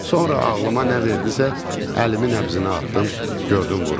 Sonra ağlıma nə verdilərsə, əlimi nəbzinə atdım, gördüm vurur.